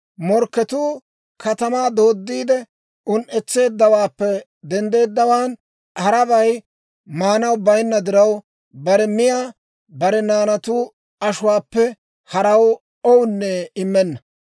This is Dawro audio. Morkketuu katamaa dooddiide un"etseeddawaappe denddeeddawaan, harabay maanaw bayinna diraw, bare miyaa bare naanatu ashuwaappe haraw oossinne immenna.